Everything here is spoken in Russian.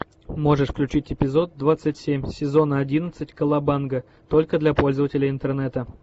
можешь включить эпизод двадцать семь сезона одиннадцать колобанга только для пользователей интернета